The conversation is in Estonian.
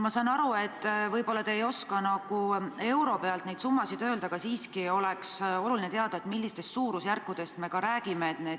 Ma saan aru, et te ei oska euro pealt neid summasid öelda, aga siiski oleks oluline teada, millistest suurusjärkudest me räägime.